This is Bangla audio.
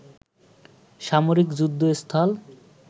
সামরিক যুদ্ধ স্থল